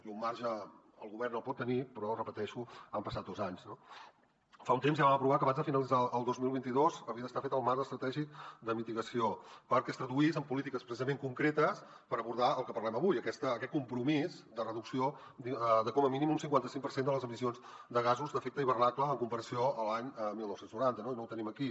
i un marge el govern el pot tenir però ho repeteixo han passat dos anys no fa un temps ja vam aprovar que abans de finalitzar el dos mil vint dos havia d’estar fet el marc estratègic de mitigació perquè es traduís en polítiques precisament concretes per abordar el que parlem avui aquest compromís de reducció de com a mínim un cinquanta cinc per cent de les emissions de gasos d’efecte hivernacle en comparació amb l’any dinou noranta i no ho tenim aquí